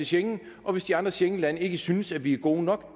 schengen og hvis de andre schengenlande ikke synes vi er gode nok